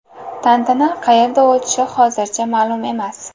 Tantana qayerda o‘tishi hozircha ma’lum emas.